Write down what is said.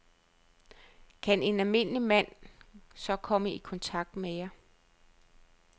Kan en almindelig mand så komme i kontakt med jer?